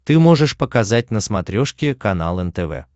ты можешь показать на смотрешке канал нтв